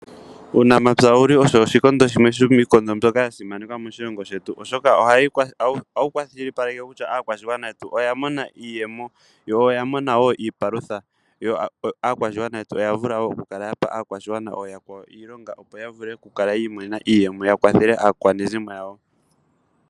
Uunamapya wou li osho oshikondo shimwe shomiikondo mbyoka ya simanekwa moshilongo shetu, oshoka ohawu kwashilipaleke kutya aakwashigwana yetu oya mona iiyemo yo oya mona wo iipalutha, yo aakwashigwana yetu oya vula wo okukala ya pa aakwashigwana ooyakwawo iilonga, opo ya vule okukala yi imonena iiyemo ya kwathele aakwanezimo yawo.